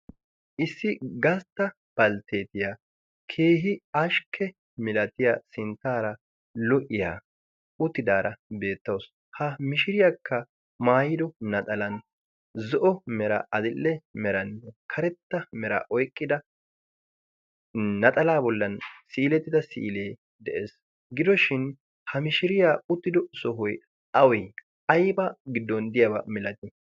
Issi gastta baltteetiyaa keehi ashkke milatiya sinttaara lo'iyaa uttidaara beettawusu. Ha mishiriyaakka maayido naxalan zo'o mera adil'e merannee karetta mera oyqqida naxala bollan si'ilettida si'ilee de'ees. Gidoshin ha mishiriyaa uttido sohoy awe? Aybaa giddon diyaabaa milati?